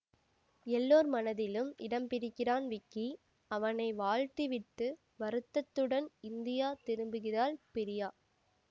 எல்லோர் மனதிலும் இடம்பிடிக்கிறான் விக்கி அவனை வாழ்த்தி விட்டு வருத்தத்துடன் இந்தியா திரும்புகிறாள் பிரியா